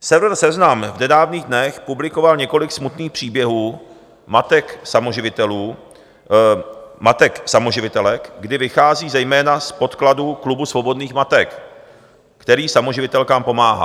Server Seznam v nedávných dnech publikoval několik smutných příběhů matek samoživitelek, kdy vychází zejména z podkladů Klubu svobodných matek, který samoživitelkám pomáhá.